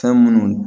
Fɛn munnu